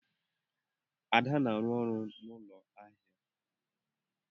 Ada na-arụ ọrụ n'ụlọ ahịa.